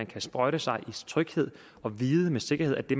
kan sprøjte sig i tryghed og vide med sikkerhed at det